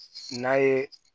N'a ye